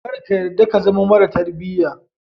Kar ka yadda ka zama mara tarbiya.